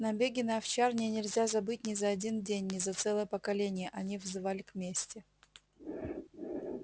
набеги на овчарни нельзя забыть ни за один день ни за целое поколение они взывали к мести